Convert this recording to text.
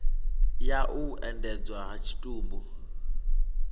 ya u endedzwa ha tshitumbu